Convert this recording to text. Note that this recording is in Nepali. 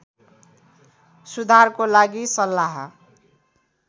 सुधारको लागि सल्लाह